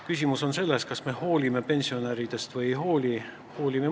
Küsimus on selles, kas me hoolime pensionäridest või ei hooli.